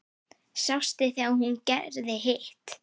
Sástu þegar hún gerði hitt?